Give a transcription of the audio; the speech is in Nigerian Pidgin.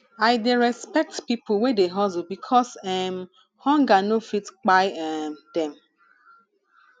i dey respect pipo wey dey hustle because um hunger no fit kpai um dem